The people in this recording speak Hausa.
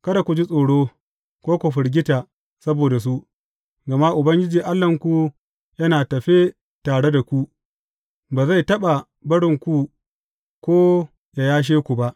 Kada ku ji tsoro, ko ku firgita saboda su, gama Ubangiji Allahnku yana tafe tare da ku, ba zai taɓa barinku ko yă yashe ku ba.